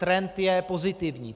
Trend je pozitivní.